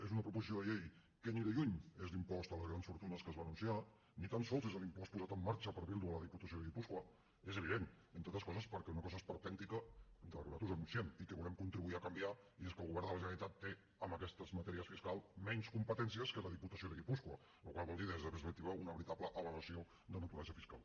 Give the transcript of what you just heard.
és una proposició de llei que ni de lluny és l’impost a les grans fortunes que es va anunciar ni tan sols és l’impost posat en marxa per bildu a la diputació de guipúscoa és evident entre altres coses per una cosa esperpèntica que nosaltres denunciem i que volem contribuir a canviar i és que el govern de la generalitat té en aquestes matèries fiscals menys competències que la diputació de guipúscoa la qual cosa vol dir des d’aquesta perspectiva una veritable aberració de naturalesa fiscal